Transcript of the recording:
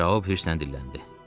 Şaub hirslə dilləndi.